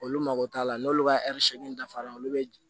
Olu mago t'a la n'olu ka dafara olu bɛ